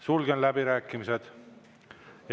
Sulgen läbirääkimised.